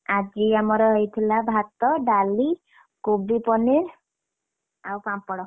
ଆଜି ଆମର ହେଇଥିଲା ଭାତ, ଡାଲି, କୋବି paneer ଆଉ ପାମ୍ପଡ।